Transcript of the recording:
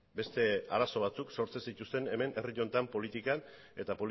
beste arazo batzuk sortzen zituzten hemen herri honetan politikan eta